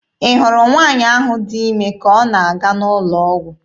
Ị hụrụ nwaanyị ahụ dị ime ka ọ na-aga n'ụlọ ọgwụ.